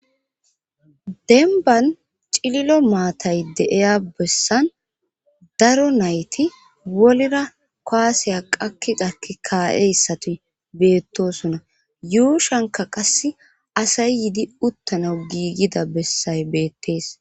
denban cililo maatay deeya bessan daro nayti wolira koaseya qakiqakki kaa7e issatuy beettosona yuushanka qass asay yidi uttana giigida bessay beettees